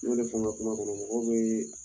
Ne yɛrɛ fɛna kuma kɔnɔ mɔgɔw bee